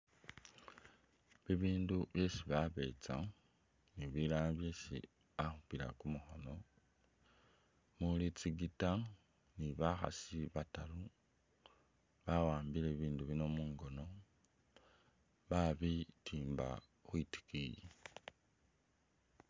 Bi bindu byesi babetsa ni bilala byesi bakhupila ku mukhono, muli tsi guitar ni bakhasi bataru ba wambile bi bindu bino mungono babitimba khwitikiyi.